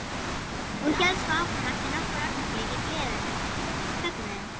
Og hélt svo áfram eftir nokkur augnablik í gleðilegum fögnuði